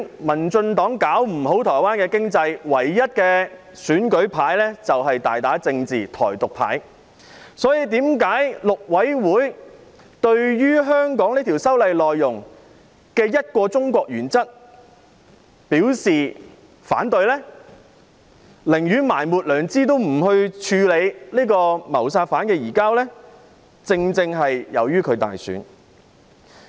民進黨搞不好台灣的經濟，唯一的選舉牌便是大打政治"台獨"牌，所以，大陸委員會對於香港修例內容的"一個中國"原則表示反對，寧願埋沒良知也不處理謀殺犯的移交，正正是由於台灣大選。